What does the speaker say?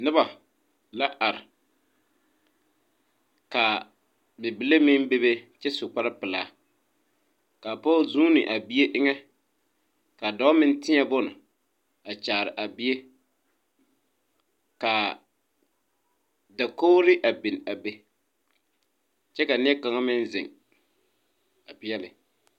Noba la are kaa bibile meŋ bebe kyɛ su kparre pilaa kaa pɔg zuune a bie eŋɛ ka dɔɔ meŋ tēɛ bon a kyaare a bie kaa dakogre a biŋ a be kyɛ a neɛ kaŋa meŋ zeŋ a pɛɛle.